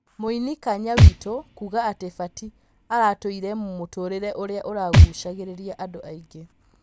Mũini Kanya Witũ kuga ati Batĩ aratũrite mũtũrĩ re ũria ũragucagĩ rĩ ria andũ aingi